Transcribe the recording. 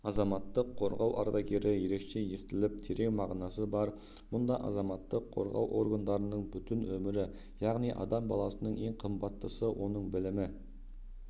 азаматтық қорғау ардагері ерекше естіліп терең мағынасы бар мұнда азаматтық қорғау органдарының бүтін өмірі яғни адам баласының ең қымбаттысы оның білімі